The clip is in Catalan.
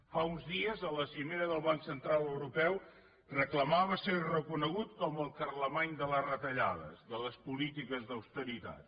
fa uns dies a la cimera del banc central europeu reclamava ser reconegut com el carlemany de les retallades de les polítiques d’austeritat